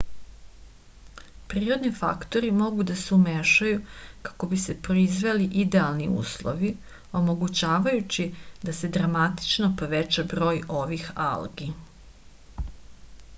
prirodni faktori mogu da se umešaju kako bi se proizveli idealni uslovi omogućavajući da se dramatično poveća broj ovih algi